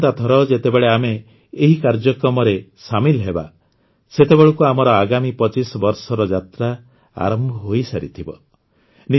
ଆସନ୍ତା ଥର ଯେତେବେଳେ ଆମେ ଏହି କାର୍ଯ୍ୟକ୍ରମରେ ସାମିଲ ହେବା ସେତେବେଳକୁ ଆମର ଆଗାମୀ ୨୫ ବର୍ଷର ଯାତ୍ରା ଆରମ୍ଭ ହୋଇସାରିଥିବ